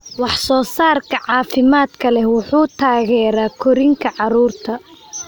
Wax soo saarka caafimaadka leh wuxuu taageeraa korriinka carruurta.